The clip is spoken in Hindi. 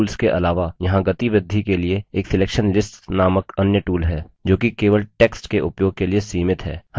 fill tools के अलावा यहाँ गति वृद्धि के लिए एक selection lists नामक अन्य tools है जो कि केवल text के उपयोग के लिए सीमित है